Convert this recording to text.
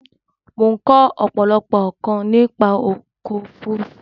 Mo n ko òpòlopò nkàn nípa ọkò òfurufú